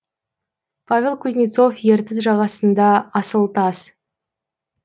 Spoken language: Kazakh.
павел кузнецов ертіс жағасында асыл тас